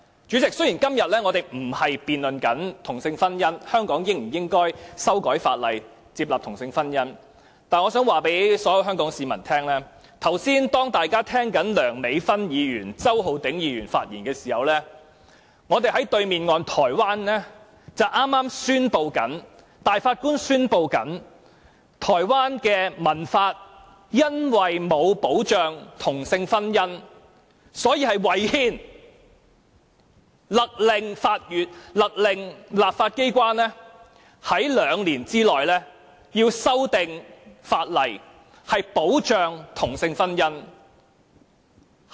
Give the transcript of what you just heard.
主席，雖然我們今天並非辯論香港應否修改法例，接納同性婚姻，但我想告訴所有香港市民，大家剛才在聆聽梁美芬議員和周浩鼎議員的發言時，在香港對岸的台灣，大法官宣布台灣的成文法因為沒有保障同性婚姻，所以違憲，勒令立法機關在兩年內修訂法例，以保障同性婚姻。